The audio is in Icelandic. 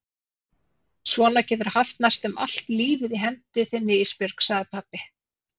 Svona geturðu haft næstum allt lífið í hendi þinni Ísbjörg, sagði pabbi.